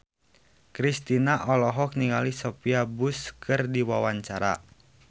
Kristina olohok ningali Sophia Bush keur diwawancara